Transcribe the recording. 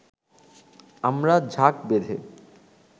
আমরা ঝাঁক বেঁধে